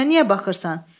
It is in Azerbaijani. Üzümə niyə baxırsan?